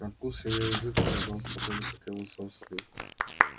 на вкус её язык оказался такой же как и его собственный